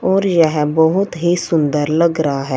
और यह बहोत ही सुंदर लग रहा है।